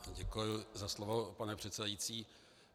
Děkuji za slovo, pane předsedající.